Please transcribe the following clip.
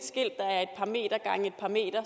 par meter